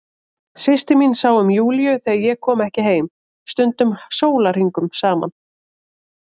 Systir mín sá um Júlíu þegar ég kom ekki heim, stundum sólarhringum saman.